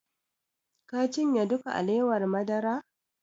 Ka cinye duka alewar madara?